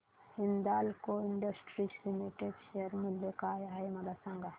Hindalco industries limited share मूल्य काय आहे मला सांगा